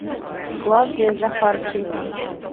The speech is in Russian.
клавдия захарченко